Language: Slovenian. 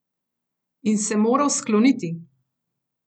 In se moral skloniti!